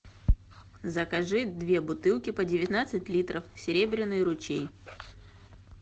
закажи две бутылки по девятнадцать литров серебряный ручей